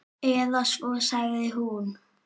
Eða svo sagði hún.